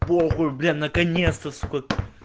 похуй бля наконец-то сука